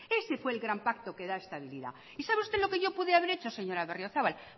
ese fue el gran pacto que da estabilidad y sabe usted lo que yo pude haber hecho señora berriozabal